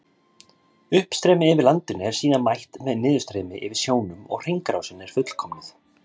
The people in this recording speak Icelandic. Uppstreymi yfir landinu er síðan mætt með niðurstreymi yfir sjónum og hringrásin er fullkomnuð.